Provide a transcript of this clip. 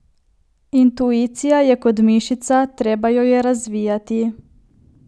Intuicija je kot mišica, treba jo je razvijati.